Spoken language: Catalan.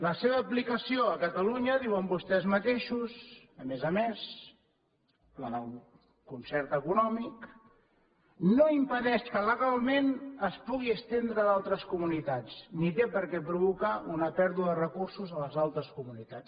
la seva aplicació a catalunya diuen vostès mateixos a més a més la del concert econòmic no impedeix que legalment es pugui estendre a d’altres comunitats ni té per què provocar una pèrdua de recursos a les altres comunitats